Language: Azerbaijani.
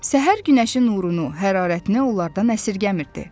Səhər günəşi nurunu, hərarətini onlardan əsirgəmirdi.